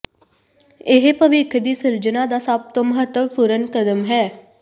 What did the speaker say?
ਇਹ ਭਵਿੱਖ ਦੀ ਸਿਰਜਣਾ ਦਾ ਸਭ ਤੋਂ ਮਹੱਤਵਪੂਰਨ ਕਦਮ ਹੈ